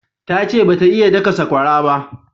Ta ce ba ta iya daka sakwara ba